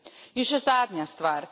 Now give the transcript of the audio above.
In še zadnja stvar.